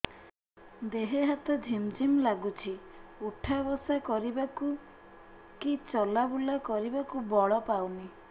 ଦେହେ ହାତ ଝିମ୍ ଝିମ୍ ଲାଗୁଚି ଉଠା ବସା କରିବାକୁ କି ଚଲା ବୁଲା କରିବାକୁ ବଳ ପାଉନି